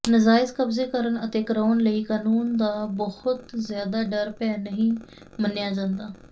ਨਜ਼ਾਇਜ਼ ਕਬਜ਼ੇ ਕਰਨ ਅਤੇ ਕਰਾਊਣ ਲਈ ਕਨੂੰਨ ਦਾ ਬਹੁਤ ਜ਼ਿਆਦਾ ਡਰ ਭੈਅ ਨਹੀਂ ਮੰਨਿਆਂ ਜਾਂਦਾ